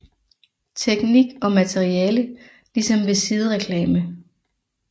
Teknik og materiale ligesom ved sidereklame